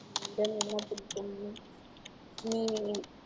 உன்னிடம் என்ன புடிக்கும் நீ